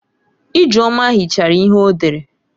Ijeoma hichara ihe o dere.